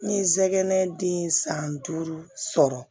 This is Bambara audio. N ye n sɛgɛn den ye san duuru sɔrɔ